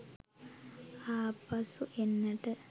ආපසු එන්නට